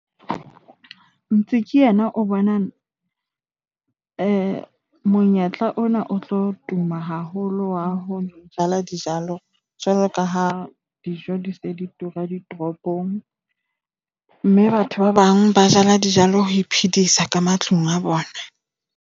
yena o bona monyetla ona o tlo tuma haholo wa ho jala dijalo jwalo ka ha dijo di se di tura ditoropong mme batho ba bang ba jala dijalo ho iphedisa ka matlung a bona.